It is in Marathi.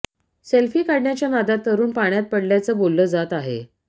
सेल्फी काढण्याच्या नादात तरुण पाण्यात पडल्याचं बोललं जात आहे